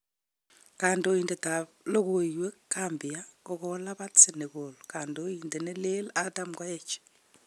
Kandoitet ap logowek Gambia kokolapat Senegal kandoitet nelee Adam koech